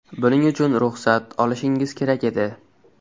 Buning uchun ruxsat olishingiz kerak edi.